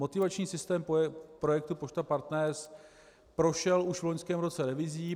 Motivační systém projektu Pošta Partner prošel už v loňském roce revizi.